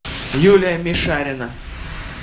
юлия мишарина